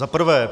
Za prvé.